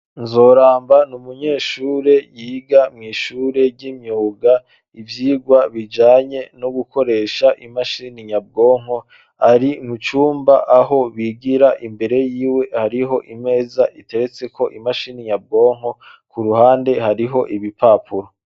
Nzoramba n'umunyeshure yiga mwishure ry'imyuga ivyigwa bijanye no gukoresha imashini nyabwonko ari mucumba aho bigira imbere yiwe hariho imeza iteretseko imashini nyabwonko k'uruhande haraho ibipapuro.